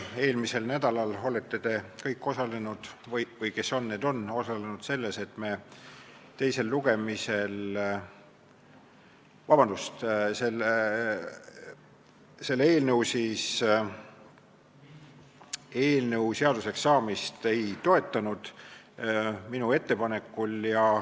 Eelmisel nädalal te kõik osalesite või kes osales, see osales, selles, et me selle eelnõu seaduseks saamist minu ettepanekul ei toetanud.